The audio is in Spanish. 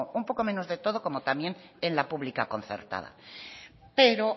un poco menos de todo como también en la pública concertada pero